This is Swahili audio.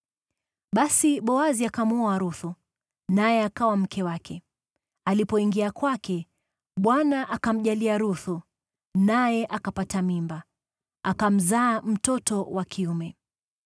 Basi Boazi akamwoa Ruthu, naye akawa mke wake. Alipoingia kwake, Bwana akamjalia Ruthu, naye akapata mimba, akamzaa mtoto wa kiume.